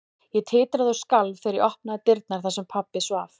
Ég titraði og skalf þegar ég opnaði dyrnar þar sem pabbi svaf.